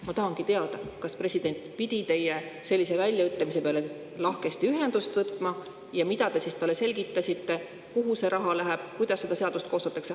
Ma tahangi teada, kas president pidi teie sellise väljaütlemise peale lahkesti ühendust võtma ja mida te siis talle selgitasite, kuhu see raha läheb, kuidas seda seadust koostatakse.